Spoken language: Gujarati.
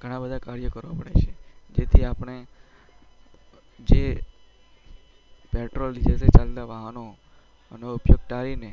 ગણા બધા કર્યો કરવા પડે છે તેથી આપણે જે પેટ્રોલ ડીજલ થી ચાલતા વાહનો એનો ઉપયોગ ટાળીને